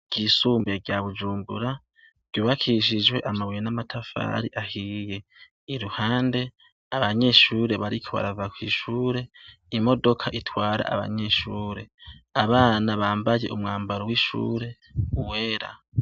Ishure ryisumbuye rya Bujumbura , ry'ubakishijwe amabuye namatafari ahiye . iruhande , abanyeshure bariko barava kw'ishure imodoka itwara abanyeshure Abana bambaye wishure wera.